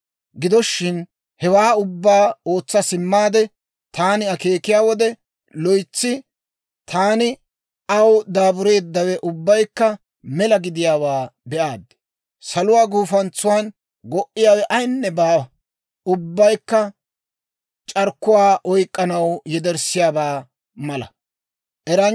Gido shin, hewaa ubbaa ootsa simmaade taani akeekiyaa wode, loytsi taani aw daabureeddawe ubbaykka mela gidiyaawaa be'aad. Saluwaa gufantsan go"iyaawe ayaynne baawa; ubbaykka c'arkkuwaa oyk'k'anaw yederssiyaabaa mala.